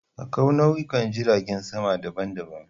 Akwai nau'ikan jiragen sama daban-daban.